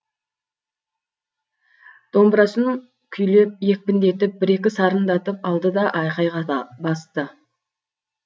домбырасын күйлеп екпіндетіп бір екі сарындатып алды да айқайға да басты